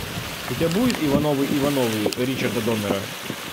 у тебя будет ивановы ивановы ричарда доннера